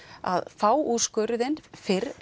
að fá úrskurðinn fyrr